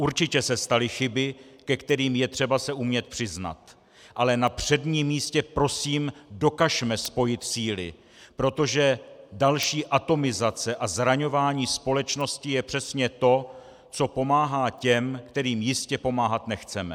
Určitě se staly chyby, ke kterým je třeba se umět přiznat, ale na předním místě prosím, dokažme spojit síly, protože další atomizace a zraňování společnosti je přesně to, co pomáhá těm, kterým jistě pomáhat nechceme.